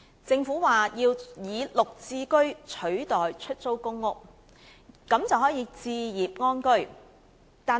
政府表示要以"綠置居"取代出租公屋，這樣市民便可以置業安居。